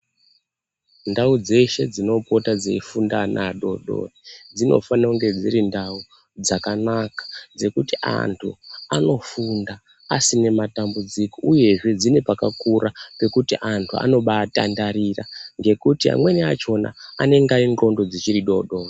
Ndau dzeshe dzinopota dzeifunda ana adodori dzinofana kunge dziri ndau dzakanaka dzekuti antu anofunda asina matambuudziko uyezve dzine pakakura pekuti antu anobaatandarira ,nekuti amweni akona anenge aine ndxondo dzichiri dodori.